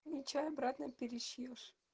ничего обратно перешьёшь